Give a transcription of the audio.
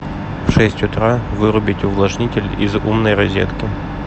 в шесть утра вырубить увлажнитель из умной розетки